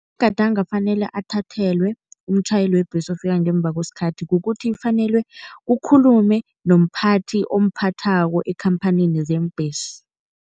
Afanele athathelwe umtjhayeli webhesi ofika ngemva kwesikhathi kukuthi kufanele kukhulume nomphathi omphathako ekhamphanini zeembhesi.